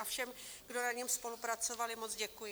A všem, kdo na něm spolupracovali, moc děkuji.